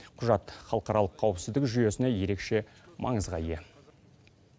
құжат халықаралық қауіпсіздік жүйесіне ерекше маңызға ие